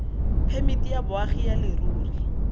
phemiti ya boagi ya leruri